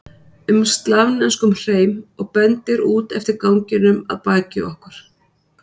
um slavneskum hreim og bendir út eftir ganginum að baki okkur.